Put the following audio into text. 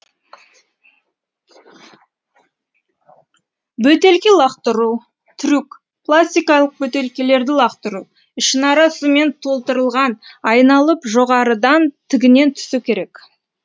бөтелке лақтыру трюк пластикалық бөтелкелерді лақтыру ішінара сумен толтырылған айналып жоғарыдан тігінен түсу керек